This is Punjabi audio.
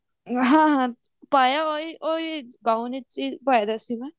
ਹਾਂ ਹਾਂ ਪਾਇਆ ਉਹੀ ਗੋਇੰ ਵਿੱਚ ਹੀ ਪਾਇਆ ਸੀ ਨਾ